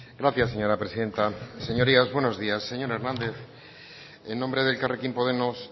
gracias señora presidenta señorías buenos días señor hernández en nombre de elkarrekin podemos